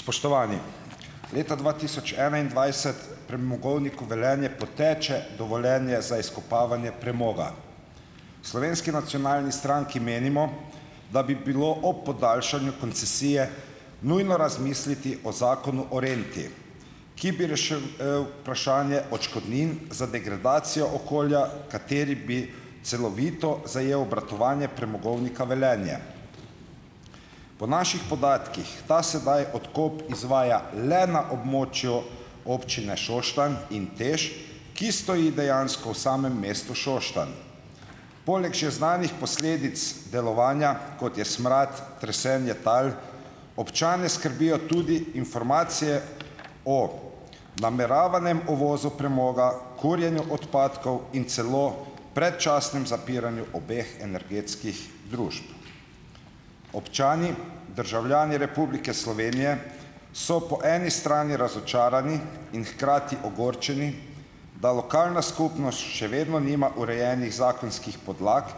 Spoštovani! Leta dva tisoč enaindvajset Premogovniku Velenje poteče dovoljenje za izkopavanje premoga. V Slovenski nacionalni stranki menimo, da bi bilo ob podaljšanju koncesije nujno razmisliti o zakonu o renti, ki bi vprašanje odškodnin za degradacijo okolja, kateri bi celovito zajel obratovanje Premogovnika Velenje. Po naših podatkih ta sedaj odkop izvaja le na območju Občine Šoštanj in TEŠ, ki stoji dejansko v samem mestu Šoštanj. Poleg že znanih posledic delovanja, kot je smrad, tresenje tal, občane skrbijo tudi informacije o nameravanem uvozu premoga, kurjenju odpadkov in celo predčasnem zapiranju obeh energetskih družb. Občani, državljani Republike Slovenije so po eni strani razočarani in hkrati ogorčeni, da lokalna skupnost še vedno nima urejenih zakonskih podlag,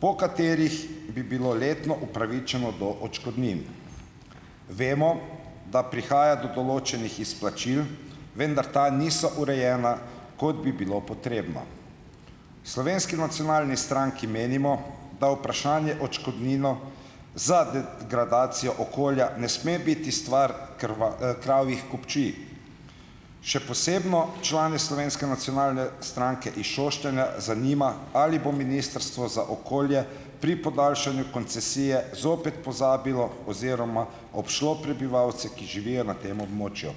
po katerih bi bilo letno upravičeno do odškodnin. Vemo, da prihaja do določenih izplačil, vendar ta niso urejena, kot bi bilo potrebno. V Slovenski nacionalni stranki menimo, da vprašanje odškodnino za degradacijo okolja ne sme biti stvar kravjih kupčij, še posebno člane Slovenske nacionalne stranke iz Šoštanja zanima: Ali bo ministrstvo za okolje pri podaljšanju koncesije zopet pozabilo oziroma obšlo prebivalce, ki živijo na tem območju?